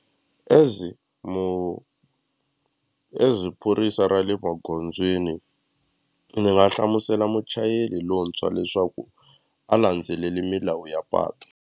As as phorisa ra le magondzweni ni nga hlamusela muchayeri lontshwa leswaku a landzeleli milawu ya patu.